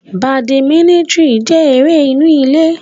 Badiminitini jẹ ere inu ile